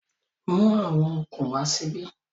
Mú àwọn okùn wá síbí